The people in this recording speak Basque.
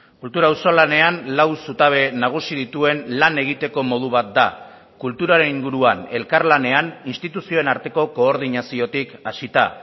kultura auzolanean lau zutabe nagusi dituen lan egiteko modu bat da kulturaren inguruan elkarlanean instituzioen arteko koordinaziotik hasita